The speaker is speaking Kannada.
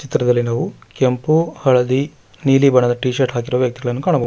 ಚಿತ್ರದಲ್ಲಿ ನಾವು ಕೆಂಪು ಹಳದಿ ನೀಲಿ ಬಣ್ಣದ ಟಿ ಶರ್ಟ್ ಹಾಕಿರುವ ವ್ಯಕ್ತಿಗಳನ್ನು ಕಾಣಬಹುದು.